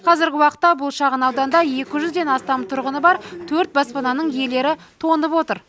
қазіргі уақытта бұл шағын ауданда екі жүзден астам тұрғыны бар төрт баспананың иелері тоңып отыр